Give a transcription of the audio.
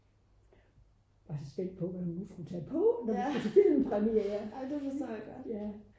jeg var så spændt på hvad hun nu ville tage på til filmpremiere